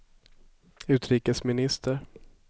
utrikesminister